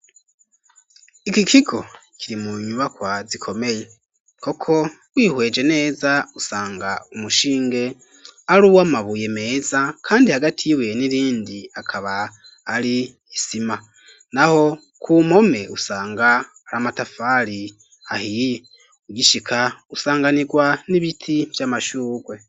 Iki kigo kiri mu nyubakwa zikomeye koko wihweje neza usanga umushinge ari uwamabuye meza kandi hagati yawo n'irindi akaba ari isima naho kumpome usanga ari amatafari ahiye, ugishika usanganirwa n'ibiti vy'amashurwe.